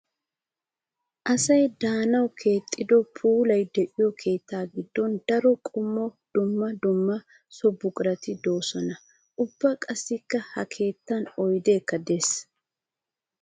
Asay de'anawu keexxiddo puula de'iyo keetta gidon daro qommo dumma dumma so buquratti de'ossonna. Ubba qassikka ha keettan oyddekka de'ees.